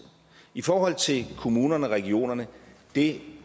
i forhold til kommunerne og regionerne det